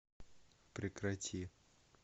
прекрати